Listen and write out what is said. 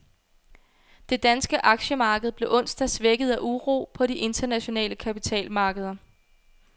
Det danske aktiemarked blev onsdag svækket af uro på de internationale kapitalmarkeder.